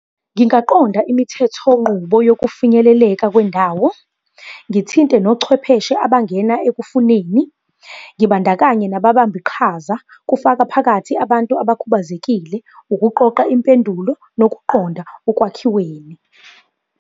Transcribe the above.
Ngingaqonda imithethonqubo yokufinyeleleka kwendawo. Ngithinte nochwepheshe abangena ekufuneni, ngibandakanye nababambiqhaza, kufaka phakathi abantu abakhubazekile, ukuqoqa impendulo, nokuqonda ekwakhiweni.